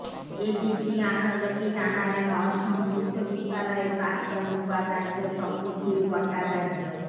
ABP আনন্দকে জানালেন অসম বিশ্ববিদ্যালয়ের প্রাক্তন উপাচার্য তপোধীর ভট্টাচার্য